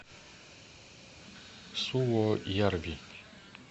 суоярви